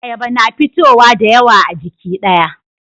Ayaba na fitowa dayawa a jiki daya